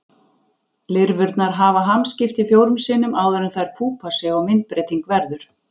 Lirfurnar hafa hamskipti fjórum sinnum áður en þær púpa sig og myndbreyting verður.